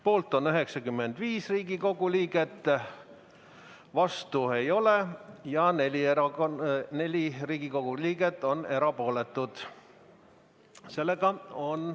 Poolt on 95 Riigikogu liiget, vastuolijaid ei ole ja 4 Riigikogu liiget on erapooletud.